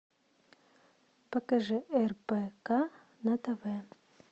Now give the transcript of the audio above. покажи рбк на тв